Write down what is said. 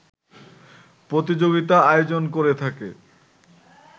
প্রতিযোগিতা আয়োজন করে থাকে